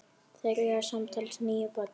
Þeir eiga samtals níu börn.